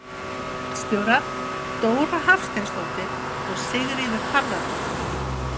Ritstjórar: Dóra Hafsteinsdóttir og Sigríður Harðardóttir.